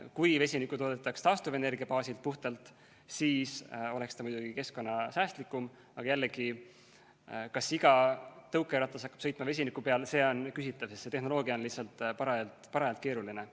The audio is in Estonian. Kui vesinikku toodetaks puhtalt taastuvenergia baasil, siis oleks ta muidugi keskkonnasäästlikum, aga jällegi, kas iga tõukeratas hakkab sõitma vesiniku peal, see on küsitav, sest see tehnoloogia on lihtsalt parajalt keeruline.